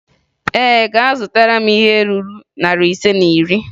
Ee, agụtara m ihe ruru narị ise na iri.